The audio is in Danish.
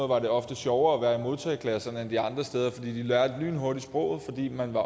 var det ofte sjovere at være i modtageklasserne end de andre steder for de lærte lynhurtigt sproget fordi man var